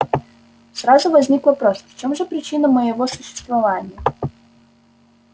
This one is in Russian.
сразу возник вопрос в чём же причина моего существования